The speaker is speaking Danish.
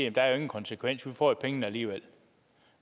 at der jo ingen konsekvens er for vi får pengene alligevel